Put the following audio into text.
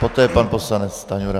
Poté pan poslanec Stanjura.